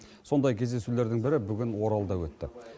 сондай кездесулердің бірі бүгін оралда өтті